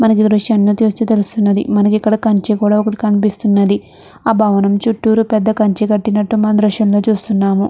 మనకి ఈ దృశ్యాన్ని చూస్తే తెలుస్తుంది. మనకి ఇక్కడ ఒక కంచ కూడా కనిపిస్తుంది. ఆ భవనం చుట్టూరు పెద్ద కంచి కట్టినట్టు మనము దృశ్యంలో చూస్తూ ఉన్నాము.